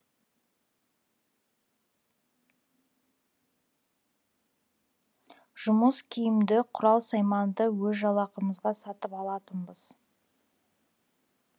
жұмыс киімді құрал сайманды өз жалақымызға сатып алатынбыз